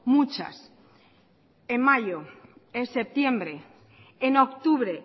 muchas en mayo en septiembre en octubre